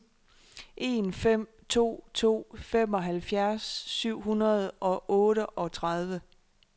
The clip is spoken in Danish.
en fem to to femoghalvfjerds syv hundrede og otteogtredive